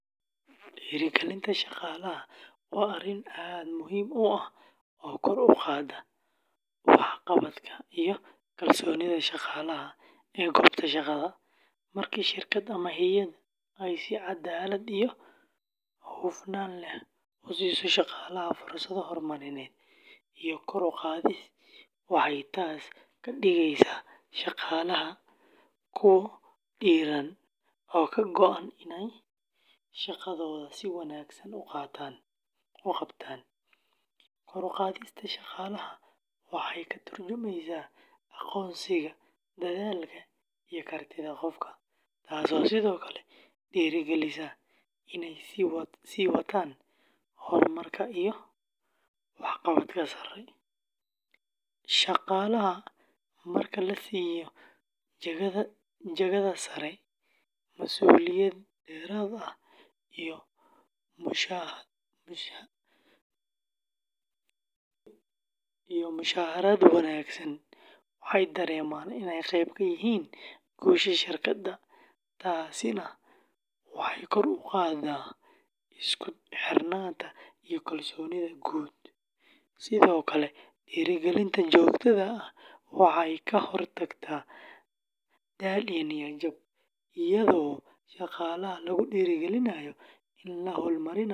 Dhiirrigelinta shaqaalaha waa arrin aad muhiim u ah oo kor u qaada waxqabadka iyo kalsoonida shaqaalaha ee goobta shaqada. Marka shirkad ama hay’ad ay si caddaalad iyo hufnaan leh u siiso shaqaalaha fursado horumarineed iyo kor u qaadis, waxay taas ka dhigaysaa shaqaalaha kuwo dhiirran oo ka go’an inay shaqadooda si wanaagsan u qabtaan. Kor u qaadista shaqaalaha waxay ka tarjumaysaa aqoonsiga dadaalka iyo kartida qofka, taasoo sidoo kale dhiirrigelisa inay sii wataan horumarka iyo waxqabadka sare. Shaqaalaha marka la siiyo jagada sare, mas’uuliyad dheeraad ah iyo mushahar wanaagsan, waxay dareemaan inay qayb ka yihiin guusha shirkadda, taasina waxay kor u qaadaa isku xirnaanta iyo kalsoonida guud. Sidoo kale, dhiirrigelinta joogtada ah waxay ka hortagtaa daal iyo niyad jab, iyadoo shaqaalaha lagu dhiirrigelinayo inay hal-abuurnimo.